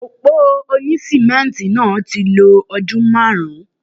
Òpó òní sìmẹ́ǹtì náà ti lo ọdún márùn-ún.